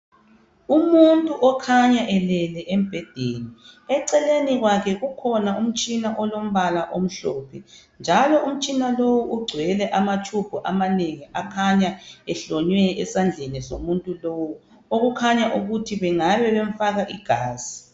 Umuntu okhanya elele embhedeni, eceleni kwakhe kukhona umtshina olombala omhlophe njalo umtshina lowu ugcwele amatshubhu amanengi akhanya ehlonywe esandleni somuntu lowu okukhanya ukuthi bangabe bemfaka igazi.